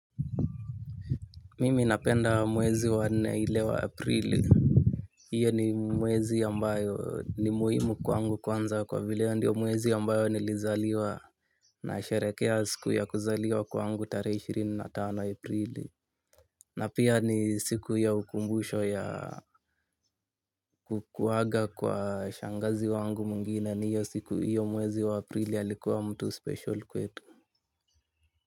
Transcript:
Mimi napenda mwezi wa nne ile wa aprili. Iyo ni mwezi ambayo ni muhimu kwangu kwanza kwa vile ndio mwezi ambayo nilizaliwa nasherekea siku ya kuzaliwa kwangu tarehe ishirini na tano aprili. Na pia ni siku ya ukumbusho ya kukuwaga kwa shangazi wangu mwingine ni hiyo siku iyo mwezi wa aprili alikuwa mtu special kwetu.